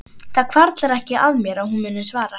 Það hvarflar ekki að mér að hún muni svara.